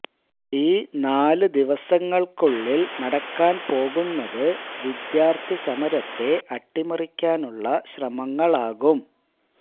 ഈ നാല് ദിവസങ്ങൾക്കുള്ളിൽ നടക്കാൻ പോകുന്നത് വിദ്യാർത്ഥി സമരത്തെ അട്ടിമറിക്കാനുള്ള ശ്രമങ്ങളാകും